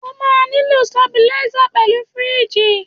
O máa nílò stabilízà pẹ̀lú fíríjì.